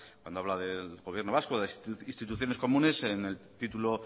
cuando habla del gobierno vasco de instituciones comunes en el título